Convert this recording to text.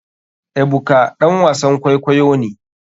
Ebuka ɗan wasan kwaikwayo ne.